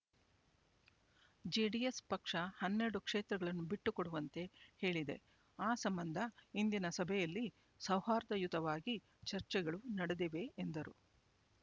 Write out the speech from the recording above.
JDS ಪಕ್ಷ ಹನ್ನೆರಡು ಕ್ಷೇತ್ರಗಳನ್ನು ಬಿಟ್ಟುಕೊಡುವಂತೆ ಹೇಳಿದೆ ಆ ಸಂಬಂಧ ಇಂದಿನ ಸಭೆಯಲ್ಲಿ ಸೌಹಾರ್ದಯುತವಾಗಿ ಚರ್ಚೆಗಳು ನಡೆದಿವೆ ಎಂದರು